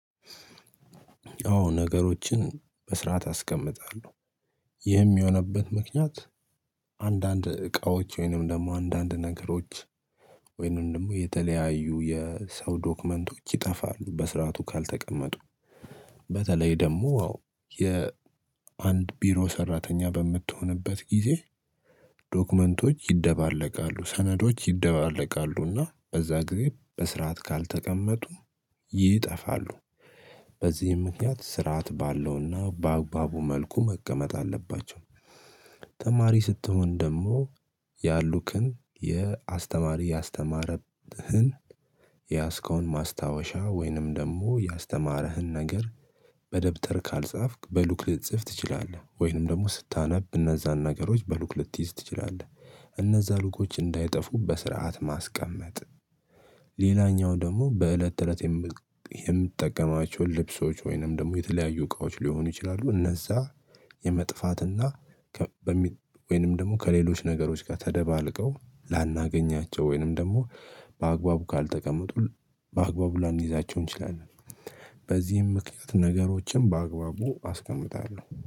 አዎ ነገሮችን በስረአት አስቀምጣለሁ። ይህም የሆነበት ምክንያት አንዳንድ እቃዎች ወይንም ደግሞ አንዳንድ ነገሮች ወይንም ደግሞ የተለያዩ የሰው ዶክመንቶች ይጠፋሉ በስርዓቱ ካልተቀመጡ። በተለይ ደግሞ ያው የአንድ ቢሮ ሰራተኛ በምትሆንበት ጊዜ። ዶክመንቶች ይደባለቃሉ ሰነዶች ይደባለቃሉና በዛ ጊዜ በስርዓት ካልተቀመጡ ይጠፋሉ። በዚህም ምክንያት ስርዓት ባለውና በአግባቡ መልኩ መቀመጥ አለባቸው። ተማሪ ስትሆን ደግሞ ያሉ ቀን የአስተማሪ ያስተማረብህን የያዝከውን ማስታወሻ ወይንም ደግሞ ያስተማረህን ነገር በደብተር ካልጻፍክ በሉክ ልትጽፍ ትችላለህ ወይንም ደግሞ ስታነብ እነዛን ነገሮች በሉክ ልትይዝ ትችላለህ እነዛ ሉኮች እንዳይጠፉ በስርዓት ማስቀመጥ። ሌላኛው ደግሞ በእለት ተእለት የምትጠቀማቸውን ልብሶች ወይንም ደግሞ የተለያዩ እቃዎች ሊሆኑ ይችላሉ። እነዛ የመጥፋትና ወይንም ደግሞ ከሌሎች ነገሮች ጋር ተደባልቀው ላናገኛቸው ወይንም ደግሞ በአግባቡ ካልተቀመጡ በአግባቡ ላይይዛቸው እንችላለን። በዚህም ምክንያት ነገሮችን በአግባቡ አስቀምጣለሁ